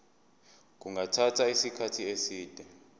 kungathatha isikhathi eside